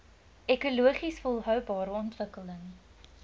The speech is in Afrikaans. ekologies volhoubare ontwikkeling